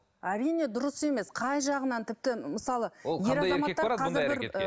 әрине дұрыс емес қай жағынан тіпті мысалы ол қандай еркек барады бұндай әрекетке